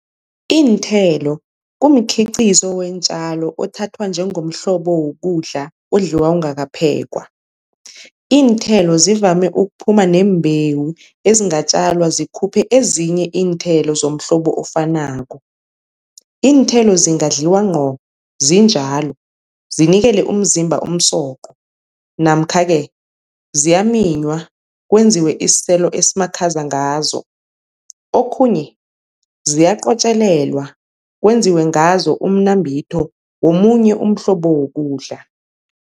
Iinthelo kumikhiqizo weentjalo othathwa njengomhlobo wokudla odliwa ungakaphekwa. Iinthelo zivame ukuphuma neembewu ezingatjalwa zikhuphe ezinye iinthelo zomhlobo ofanako. Iinthelo zingadliwa nqo zinjalo, zinikele umzimba umsoqo namkha-ke ziyaminywa kwenziwe isiselo esimakhaza ngazo. Okhunye ziyaqotjelelwa kwenziwe ngazo umnambitho womunye umhlobo wokudla.